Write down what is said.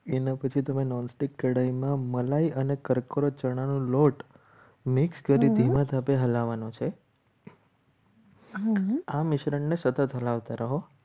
એના પછી તમે nonstick કઢાઈ માં મલાઈ અને કક્રો ચણાનો લોટ mix કરી ધીમા તાપે હલાવવાનો છે. આ મિશ્રણને સતત હલાવતા રહો.